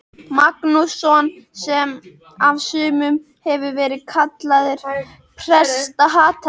Magnússon, sem af sumum hefur verið kallaður prestahatari.